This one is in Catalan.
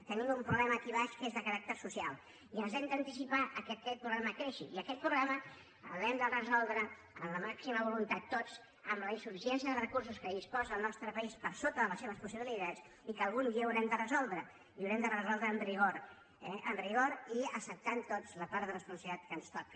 tenim un problema aquí baix que és de caràcter social i ens hem d’anticipar al fet que aquest problema creixi i aquest problema l’hem de resoldre amb la màxima voluntat tots amb la insuficiència de recursos de què disposa el nostre país per sota de les seves possibilitats i que algun dia haurem de resoldre i l’haurem de resoldre amb rigor amb rigor i acceptant tots la part de responsabilitat que ens toca